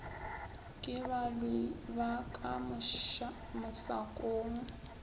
ke balwi ba ka mosakong